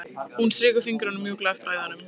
Hún strýkur fingrunum mjúklega eftir æðunum.